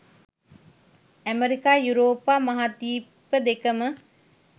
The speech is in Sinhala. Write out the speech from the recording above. ඇමරිකා යුරෝපා, මහාද්වීප දෙකම